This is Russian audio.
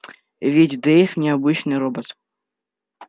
ведь дейв не обычный робот